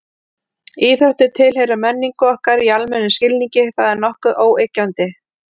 Íþróttir tilheyra menningu okkar í almennum skilningi, það er nokkuð óyggjandi.